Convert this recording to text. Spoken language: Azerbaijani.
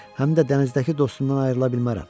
Həm də dənizdəki dostundan ayrıla bilmərəm.